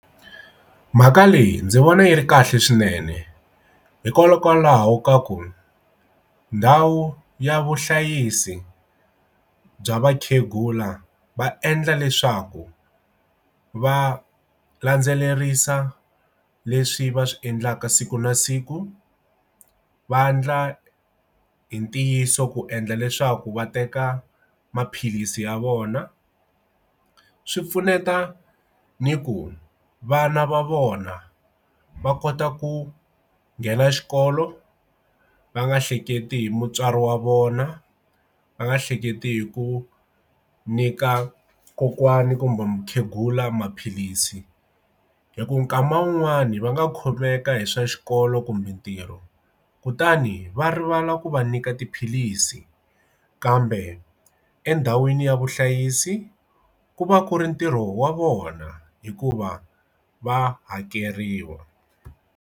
Mhaka leyi ndzi vona yi ri kahle swinene hikokwalaho ka ku ndhawu ya vuhlayisi bya vakhegula va endla leswaku va landzelerisa leswi va swi endlaka siku na siku vandla hi ntiyiso ku endla leswaku va teka maphilisi ya vona swi pfuneta ni ku vana va vona va kota ku nghena xikolo va nga hleketi hi mutswari wa vona va nga hleketi hi ku nyika kokwani kumbe mukhegula maphilisi hi ku kama wun'wani va nga kholwaka hi swa xikolo kumbe ntirho kutani va rivala ku va nyika tiphilisi kambe endhawini ya vuhlayisi ku va ku ri ntirho wa vona hikuva va hakeriwa.